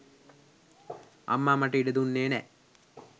අම්මා මට ඉඩ දුන්නෙ නෑ.